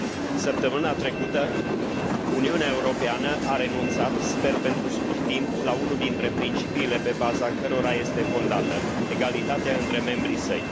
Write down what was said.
Săptămâna trecută, Uniunea Europeană a renunțat, sper pentru scurt timp, la unul dintre principiile pe baza cărora este fondată egalitate între membrii săi.